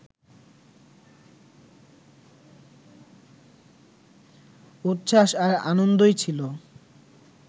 উচ্ছ্বাস আর আনন্দই ছিলো